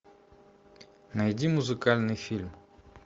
найди музыкальный фильм